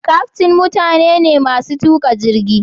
kyaftin mutane ne masu tuka jirgi.